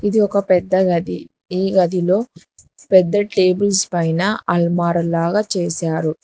ఇది ఒక పెద్ద గది ఈ గదిలో పెద్ద టేబుల్స్ పైన అల్మార ల్లాగా చేశారు.